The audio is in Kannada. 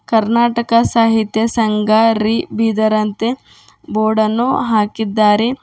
ಕರ್ನಾಟಕ ಸಾಹಿತ್ಯ ಸಂಘ ರಿ ಬೀದರ ಅಂತೆ ಬೋರ್ಡ್ ಅನ್ನು ಹಾಕಿದ್ದಾರೆ.